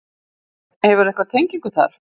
Hefurðu einhverja tengingu þar?